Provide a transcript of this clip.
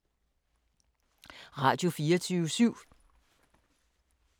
Radio24syv